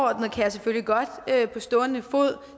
kan jeg selvfølgelig godt på stående fod